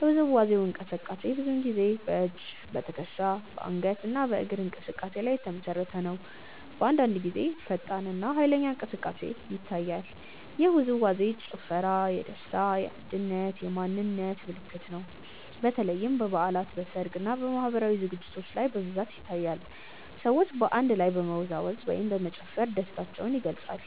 የውዝዋዜው እንቅስቃሴ ብዙ ጊዜ በእጅ፣ በትከሻ፣ በአንገት እና በእግር እንቅስቃሴ ላይ የተመሰረተ ነው። አንዳንድ ጊዜ ፈጣን እና ኃይለኛ እንቅስቃሴ ይታያል። ይህ ውዝዋዜ/ ጭፈራ የደስታ፣ የአንድነት እና የማንነት ምልክት ነው። በተለይም በበዓላት፣ በሰርግ እና በማህበራዊ ዝግጅቶች ላይ በብዛት ይታያል። ሰዎች በአንድ ላይ በመወዛወዝ ወይም በመጨፈር ደስታቸውን ይገልጻሉ።